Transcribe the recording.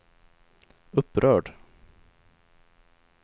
upprörd